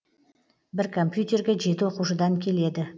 бір компьютерге жеті оқушыдан келеді